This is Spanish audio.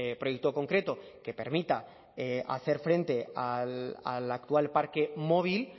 proyecto concreto que permita hacer frente al actual parque móvil